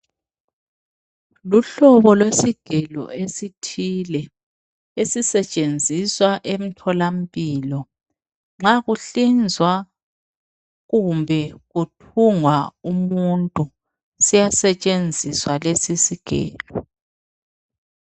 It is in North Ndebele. Luhlobo kwesigelo esithile, esisetshenziswa emtholampilo. Nxa kuhlinzwa kumbe kuthungwa umuntu. Siyasetshenziswa lesisigelo.